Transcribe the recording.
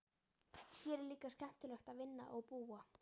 Hér er líka skemmtilegt að vinna og búa.